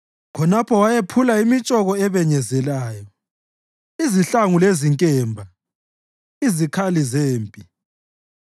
Khonapho wayephula imitshoko ebenyezelayo, izihlangu lezinkemba, izikhali zempi.